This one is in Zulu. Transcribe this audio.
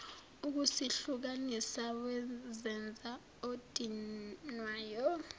ukusihlukanisa wazenza odinwayo